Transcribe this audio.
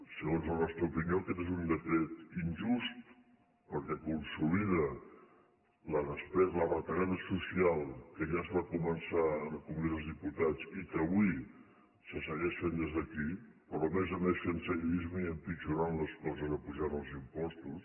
segons la nostra opinió aquest és un decret injust perquè consolida la retallada social que ja es va començar en el congrés dels diputats i que avui se segueix fent des d’aquí però a més a més fent seguidisme i empitjorant les coses apujant els impostos